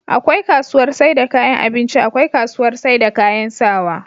akwai kasuwar saida kayan abinci akwai kasuwar saida kayan sawaa